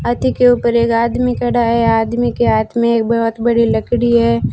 हाथी के ऊपर एक आदमी खड़ा है आदमी के हाथ में एक बहोत बड़ी लकड़ी है।